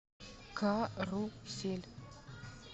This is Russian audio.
карусель